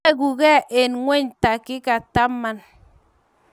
Weguke eng ingweny takika taman---